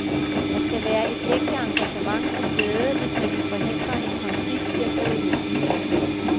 Der skal være et ægte engagement til stede, hvis man vil forhindre en konflikt i at bryde ud.